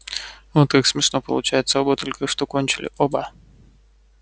вот как смешно получается оба только что кончили оба